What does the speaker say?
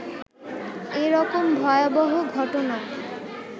এ রকম ভয়বহ ঘটনা